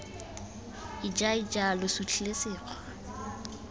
ija ija lo sutlhile sekgwa